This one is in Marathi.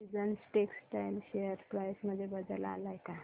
सीजन्स टेक्स्टटाइल शेअर प्राइस मध्ये बदल आलाय का